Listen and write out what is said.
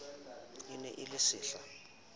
e ne e le sehla